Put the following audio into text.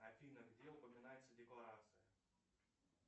афина где упоминается декларация